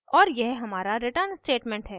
और यह हमारा return statement है